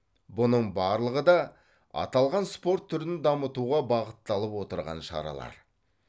бұның барлығы да аталған спорт түрін дамытуға бағытталып отырған шаралар